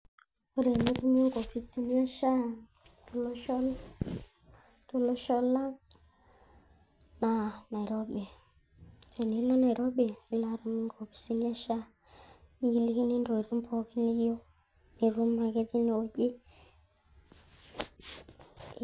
ore enitumie inkopisini ee sha tolosho tolosho lang na nairobi tenilo nairobi nilo atum inkopisini e Sha nikilikini ntokitin pooki niyieu, itum ake tineweuji,